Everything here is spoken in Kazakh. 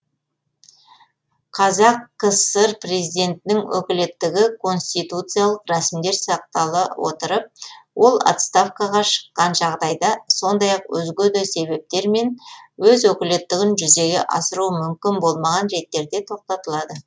қазақ кср президентінің өкілеттігі конституциялық рәсімдер сақтала отырып ол отставкаға шыққан жағдайда сондай ақ өзге де себептермен өз өкілеттігін жүзеге асыруы мүмкін болмаған реттерде тоқтатылады